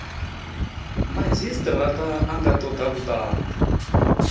madzhisitirata a nga toda vhutanzi